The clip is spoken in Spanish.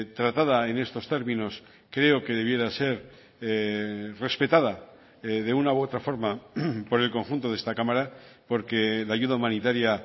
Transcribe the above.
tratada en estos términos creo que debiera ser respetada de una u otra forma por el conjunto de esta cámara porque la ayuda humanitaria